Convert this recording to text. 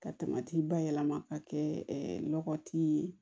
Ka taamati bayɛlɛma ka kɛ nɔgɔ tɛ ye